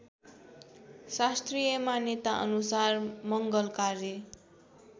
शास्त्रीय मान्यताअनुसार मङ्गलकार्य